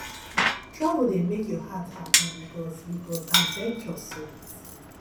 travel dey make your heart hapi because because adventure sweet